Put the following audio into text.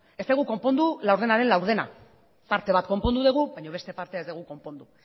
ez dugu konpondu laurdenaren laurdena parte bat konpondu dugu baina beste partea ez dugu konpondu